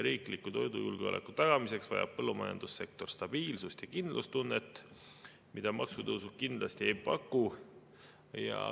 "Riikliku toidujulgeoleku tagamiseks vajab põllumajandussektor stabiilsust ja kindlustunnet, mida maksutõusud kindlasti ei paku.